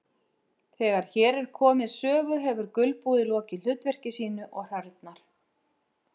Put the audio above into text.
Þegar hér er komið sögu hefur gulbúið lokið hlutverki sínu og hrörnar.